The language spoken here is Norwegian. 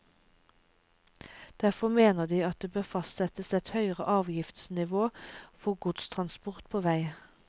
Derfor mener de at det bør fastsettes et høyere avgiftsnivå for godstransport på vei.